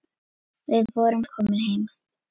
Við vorum komin heim.